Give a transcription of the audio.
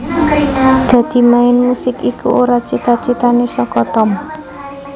Dadi main musik iku ora cita citane saka Tom